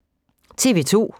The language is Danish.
TV 2